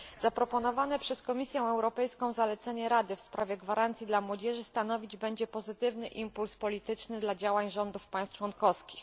Zaproponowane przez Komisję Europejską zalecenie Rady w sprawie gwarancji dla młodzieży stanowić będzie pozytywny impuls polityczny dla działań rządów państw członkowskich.